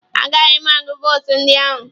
A gaghị agụ votu ndị ahụ.